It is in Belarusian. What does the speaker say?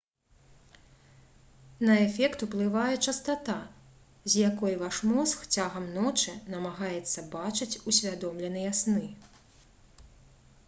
на эфект уплывае частата з якой ваш мозг цягам ночы намагаецца бачыць усвядомленыя сны